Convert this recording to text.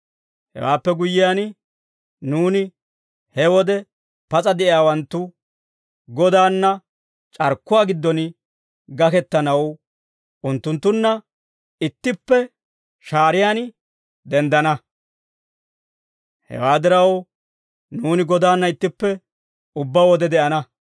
Hewaappe guyyiyaan, nuuni he wode pas'a de'iyaawanttu, Godaanna c'arkkuwaa giddon gakkettanaw unttunttunna ittippe shaariyaan denddana. Hewaa diraw nuuni Godaanna ittippe ubbaa wode de'ana.